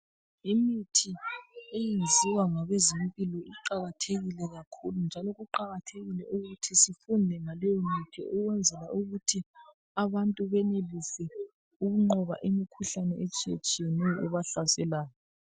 Imithi eyenziwa ngabezempilo iqalathekile kakhulu njalo kuqakathekile ukuthi sifunde ngaleyomithi ukwenzela ukuthi abantu benelise ukunqoba imikhuhlane etshiyetshiyeneyo ebahlaselayo.